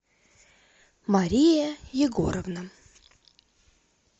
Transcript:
мария егоровна